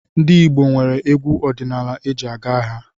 Ndị Igbo nwere egwu ọdinaala eji aga agha.